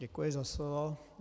Děkuji za slovo.